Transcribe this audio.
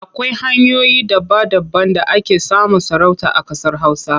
Akwai hanyoyi daba-daban da ake samun sarauta a ƙasar Hausa.